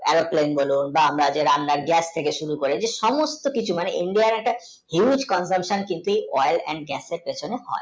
Aeroplane বা আমরা যে রান্না যে গ্যাস থেকে শুরু করে যে সমুস্ত কিছু মানে india আর একটা viuss এবং oil and gas এর